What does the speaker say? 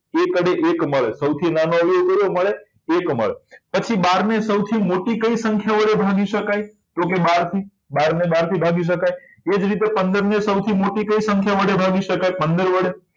એકડે એક મળે સૌથી નાનો અવયવ કેટલો મળે એક મળે પછી બારને સૌથી મોટી કઈ સંખ્યા વડે ભાગી શકાય તો કે બાર થી બાર થી ભાગી શકાય એ જ રીતે પંદર ને સૌથી મોટી કઈ સંખ્યા વડે ભાગી શકાય પંદર વડે